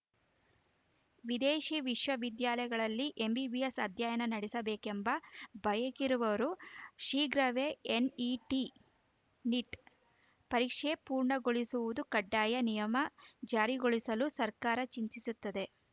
ವಿದೇಶಿ ವಿಶ್ವವಿದ್ಯಾಲಯಗಳಲ್ಲಿ ಎಂಬಿಬಿಎಸ್‌ ಅಧ್ಯಯನ ನಡೆಸಬೇಕೆಂಬ ಬಯಕೆಯಿರುವವರೂ ಶೀಘ್ರವೇ ಎನ್‌ಇಟಿ ನೀಟ್‌ ಪರೀಕ್ಷೆ ಪೂರ್ಣಗೊಳಿಸುವುದು ಕಡ್ಡಾಯ ನಿಯಮ ಜಾರಿಗೊಳಿಸಲು ಸರ್ಕಾರ ಚಿಂತಿಸುತ್ತದೆ